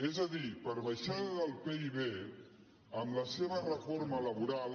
és a dir per baixada del pib amb la seva reforma laboral